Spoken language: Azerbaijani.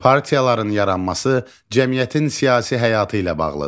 Partiyaların yaranması cəmiyyətin siyasi həyatı ilə bağlıdır.